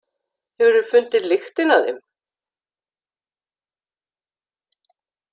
Hefurðu fundið lyktina af þeim?